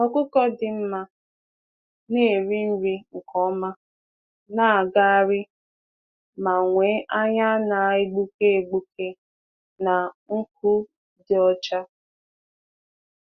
Anụ ọkụkọ dị mma na-eri nri nke ọma, na-apụ ije, ọma, na-apụ ije, na-enwe anya na-enwu na ntutu dị ọcha.